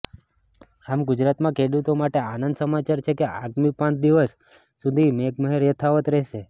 આમ ગુજરાતમાં ખેડૂતો માટે આનંદના સમાચાર છે કે આગામી પાંચ દિવસ સુધી મેઘમહેર યથાવત રહેશે